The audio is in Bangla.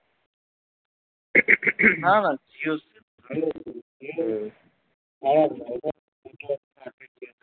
না না জিওর sim